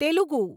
Telugu